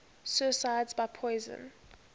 suicides by poison